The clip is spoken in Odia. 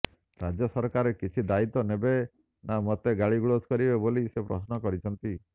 ରାଜ୍ୟ ସରକାର କିଛି ଦାୟିତ୍ୱ ନେବେ ନା ମୋତେ ଗାଳି ଗୁଲଜ କରିବେ ବୋଲି ସେ ପ୍ରଶ୍ନ କରିଛନ୍ତି